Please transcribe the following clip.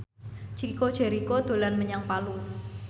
Chico Jericho dolan menyang Palu